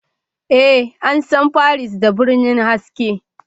Ee, an san Paris da birnin haske